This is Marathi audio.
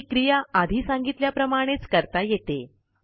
ही क्रिया आधी सांगितल्याप्रमाणेच करता येते